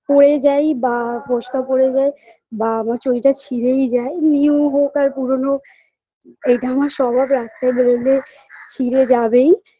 পড়ে যাই বা ফোসকা পড়ে যায় বা আমার চটি টা ছিঁড়েই যায় new হোক বা পুরনো এটা আমার স্বভাব রাস্তায় বেরলে ছিঁড়ে যাবেই